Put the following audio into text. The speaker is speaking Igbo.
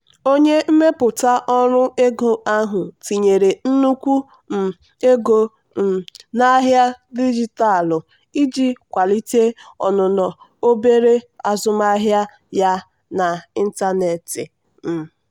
onye mmepụta ọrụ ego ahụ tinyere nnukwu um ego um n'ahịa dijitalụ iji kwalite ọnụnọ obere azụmaahịa ya n'ịntanetị. um